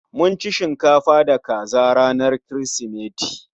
Mun ci shinkafa da kaza ranar Kirsimeti